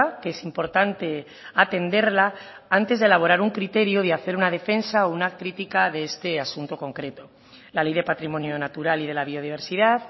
que es importante atenderla antes de elaborar un criterio y de hacer una defensa o una crítica de este asunto concreto la ley de patrimonio natural y de la biodiversidad